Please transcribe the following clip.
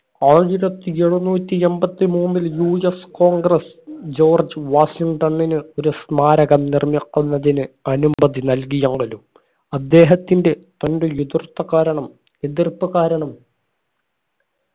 ആയിരത്തി എഴുനൂറ്റി എമ്പത്തി മൂന്നിൽ UScongress ജോർജ് വാഷിങ്ടണിന് ഒരു സ്മാരകം നിർമ്മിക്കുന്നതിന് അനുമതി നൽകിയാണ്ലും അദ്ദേഹത്തിന്റെ തന്റെ എതിർത്ത കാരണം എതിർപ്പ് കാരണം